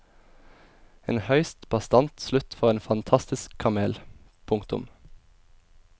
En høyst bastant slutt for en fantastisk kamel. punktum